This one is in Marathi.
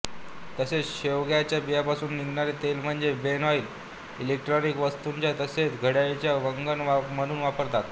तसेच शेवग्याच्या बियांपासून निघणारे तेल म्हणजे बेन ऑइल इलेक्ट्रॉनिक वस्तूंत तसेच घड्याळात वंगण म्हणून वापरतात